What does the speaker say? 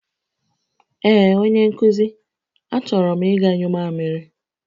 Ee onye nkuzi, a choro m iga nyụ mamịrị